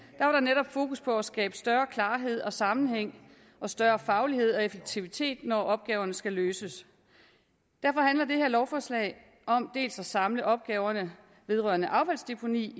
der netop fokus på at skabe større klarhed og sammenhæng og større faglighed og effektivitet når opgaverne skal løses derfor handler det her lovforslag om at samle dels opgaverne vedrørende affaldsdeponi